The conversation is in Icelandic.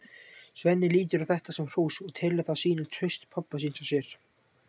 Svenni lítur á þetta sem hrós og telur það sýna traust pabba síns á sér.